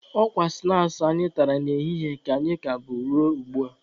Ọ kwa snaakị anyị tara n'ehihie ka anyị ka bu ruo ugbua.